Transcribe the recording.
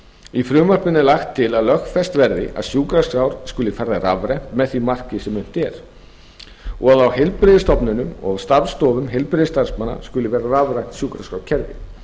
í frumvarpinu er lagt til að lögfest verði að sjúkraskrár skuli færðar rafrænt að því marki sem unnt er og á heilbrigðisstofnunum og starfsstofum heilbrigðisstarfsmanna skuli vera rafrænt sjúkraskrárkerfi